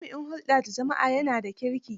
Jami'in hulɗa da jama'a ya na kirki.